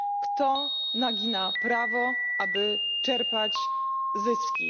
Kto nagina prawo, aby czerpać zyski?